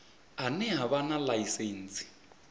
ane a vha na ḽaisentsi